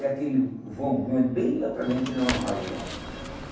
É aquele vão grande, bem lá para dentro, que nem um armazém.